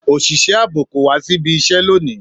Òṣìṣẹ́ ààbò kò wá síbi iṣẹ́ lónìí